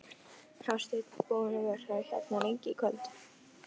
Hafsteinn: Búinn að vera hérna lengi í kvöld?